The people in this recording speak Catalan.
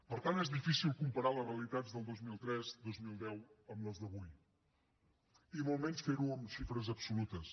per tant és difícil comparar les realitats del dos mil tres dos mil deu amb les d’avui i molt menys fer ho en xifres absolutes